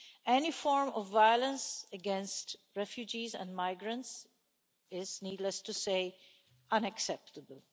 Any form of violence against refugees and migrants is, needless to say, unacceptable.